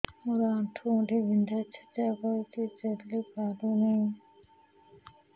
ମୋର ଆଣ୍ଠୁ ଗଣ୍ଠି ବିନ୍ଧା ଛେଚା କରୁଛି ଚାଲି ପାରୁନି